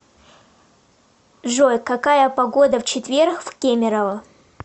джой какая погода в четверг в кемерово